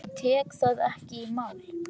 Ég tek það ekki í mál!